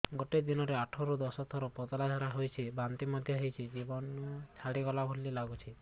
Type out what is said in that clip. ଗୋଟେ ଦିନରେ ଆଠ ରୁ ଦଶ ଥର ପତଳା ଝାଡା ହେଉଛି ବାନ୍ତି ମଧ୍ୟ ହେଉଛି ଜୀବନ ଛାଡିଗଲା ଭଳି ଲଗୁଛି